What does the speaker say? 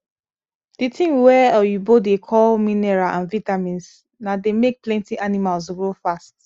the thing wa oyibo da call mineral and vitamins na the make plenty animals grow fast